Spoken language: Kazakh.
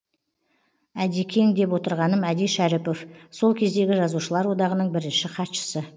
әдекең деп отырғаным әди шәріпов сол кездегі жазушылар одағының бірінші хатшысы